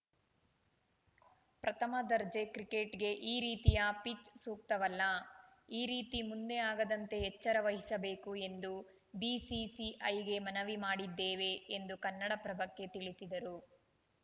ಪ್ರಥಮ ದರ್ಜೆ ಕ್ರಿಕೆಟ್‌ಗೆ ಈ ರೀತಿಯ ಪಿಚ್‌ ಸೂಕ್ತವಲ್ಲ ಈ ರೀತಿ ಮುಂದೆ ಆಗದಂತೆ ಎಚ್ಚರ ವಹಿಸಬೇಕು ಎಂದು ಬಿಸಿಸಿಐಗೆ ಮನವಿ ಮಾಡಿದ್ದೇವೆ ಎಂದು ಕನ್ನಡಪ್ರಭಕ್ಕೆ ತಿಳಿಸಿದರು